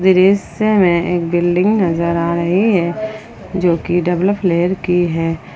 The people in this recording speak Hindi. दृश्य में एक बिल्डिंग नजर आ रही है जो की डबल फ्लोर की है।